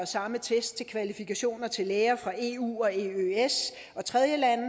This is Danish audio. samme test til kvalifikationer til læger fra eu og eøs og tredjelande